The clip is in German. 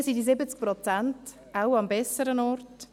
Dann sind diese 70 Prozent wohl am besseren Ort.